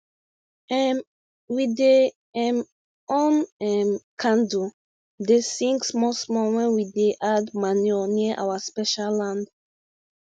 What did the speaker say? um we dey um on um candle dey sing small small wen we dey add manure near our special land